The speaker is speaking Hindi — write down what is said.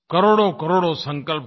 करोड़ोंकरोड़ों संकल्प हों